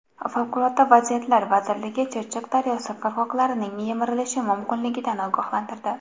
Favqulodda vaziyatlar vazirligi Chirchiq daryosi qirg‘oqlarining yemirilishi mumkinligidan ogohlantirdi.